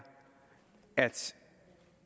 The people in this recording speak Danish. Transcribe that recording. at